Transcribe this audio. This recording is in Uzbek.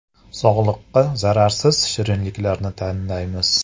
Sog‘liqqa zararsiz shirinliklarni tanlaymiz.